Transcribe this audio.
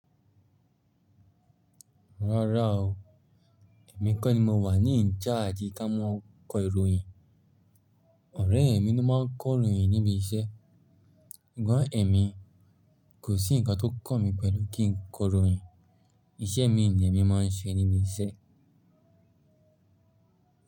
Rárá o, èmi kọ́ ni mo wà ní in charge ká mọ́ kó ìròyìn. Ọ̀rẹ́ mi ló máa ń kó'ròyìn níbi iṣẹ́. Sugbon èmi, kò sí ǹkan tó kan mí pẹ̀lú kí n kó ìròyìn. Iṣẹ́ mi ni èmi máa ń ṣe níbi iṣẹ́.